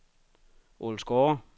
Ålsgårde